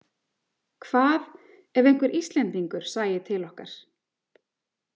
Hvað ef einhver Íslendingur sæi til okkar?